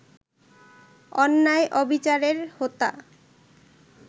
অন্যায়-অবিচারের হোতা